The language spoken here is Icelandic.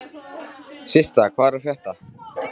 Systa, hvað er að frétta?